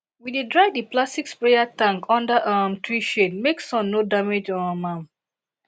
we dey dry di plastic sprayer tank under um tree shade make sun no damage um am